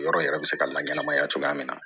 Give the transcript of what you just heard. Yɔrɔ yɛrɛ bɛ se ka laɲɛnɛmaya cogoya min na